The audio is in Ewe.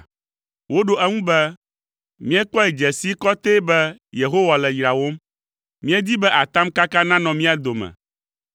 Woɖo eŋu be, “Míekpɔe dze sii kɔtɛe be Yehowa le yrawòm. Míedi be atamkaka nanɔ mía dome.